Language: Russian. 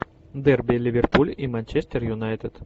дерби ливерпуль и манчестер юнайтед